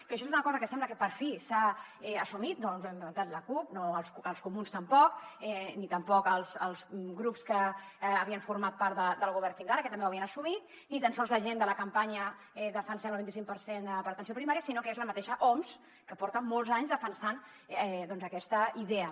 que això és una cosa que sembla que per fi s’ha assumit no ens ho hem inventat la cup els comuns tampoc ni tampoc els grups que havien format part del govern fins ara que també ho havien assumit ni tan sols la gent de la campanya defensem el vint i cinc per cent per a atenció primària sinó que és la mateixa oms que porta molts anys defensant aquesta idea